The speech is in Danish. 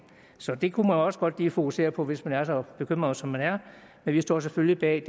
så det kunne man også godt lige fokusere på hvis man er så bekymret som man er men vi står selvfølgelig bag